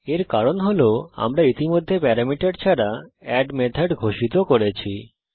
এর কারণ হল আমরা ইতিমধ্যে প্যারামিটার ছাড়া এড মেথড ঘোষিত করেছি